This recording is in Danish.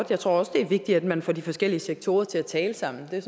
jeg tror også det er vigtigt at man får de forskellige sektorer til at tale sammen det